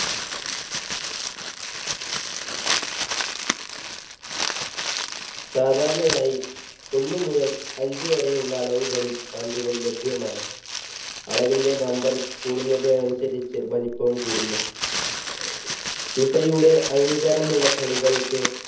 സാധാരണയായി ഒന്നു മുതൽ അഞ്ച് വരെ ഉള്ള അളവുകളിൽ പന്തുകൾ ലഭ്യമാണ് അളവിന്റെ number കൂടുന്നത് അനുസരിച്ച് വലിപ്പവും കൂടുന്നു ഫിഫയുടെ അംഗീകാരമുള്ള കളികൾക്ക്